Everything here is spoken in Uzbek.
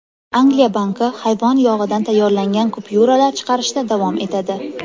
Angliya banki hayvon yog‘idan tayyorlangan kupyuralar chiqarishda davom etadi.